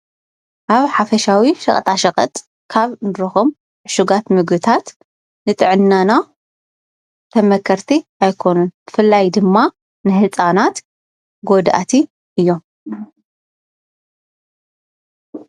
ኣብ ሓፈሻዊ ሸቀጣሸቀጥ ካብ እንረክቦም ዕሹጋት ምግብታት ንጥዕናና ተመከርቲ ኣይኮኑን። ብፍላይ ድማ ንህፃናት ጎዳእቲ እዮም።